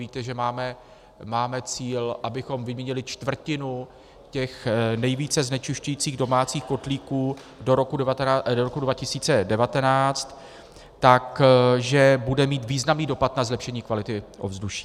Víte, že máme cíl, abychom vyměnili čtvrtinu těch nejvíce znečišťujících domácích kotlíků do roku 2019, takže bude mít významný dopad na zlepšení kvality ovzduší.